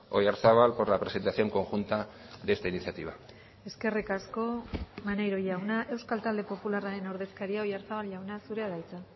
oyarzabal por la presentación conjunta de esta iniciativa eskerrik asko maneiro jauna euskal talde popularraren ordezkaria oyarzabal jauna zurea da hitza